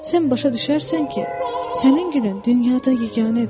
Sən başa düşərsən ki, sənin gülün dünyada yeganədir.